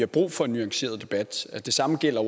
brug for en nuanceret debat det samme gælder